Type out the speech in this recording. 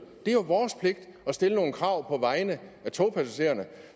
det er jo vores pligt at stille nogle krav på vegne af togpassagererne